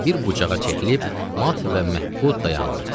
Və bir bucağa çəkilib mat və məhbud dayandı.